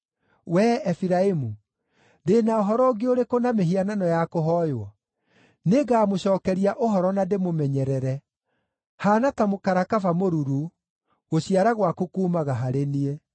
Wee Efiraimu, ndĩ na ũhoro ũngĩ ũrĩkũ na mĩhianano ya kũhooywo? Nĩngamũcookeria ũhoro na ndĩmũmenyerere. Haana ta mũkarakaba mũruru; gũciara gwaku kuumaga harĩ niĩ.”